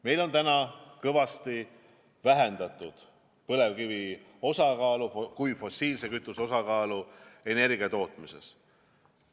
Meil on juba kõvasti vähendatud põlevkivi kui fossiilse kütuse osakaalu energiatootmises.